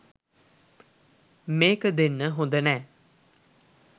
මේක දෙන්න හොඳ නෑ.